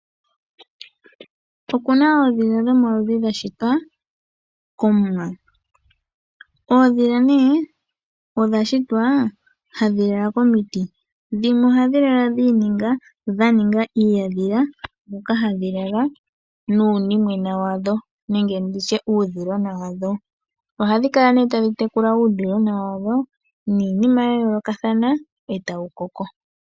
Opuna oondhila dhomaludhi dhashitwa komuwa. Oondhila odhashitwa hadhi lala komiti dhimwe ohadhi kala dhaninga uuhandhila moka hadhi lala nuudhilona wadho. Ohadhi kala tadhi tekula uudhilona wadho niinima yayoolokathana e tawu koko.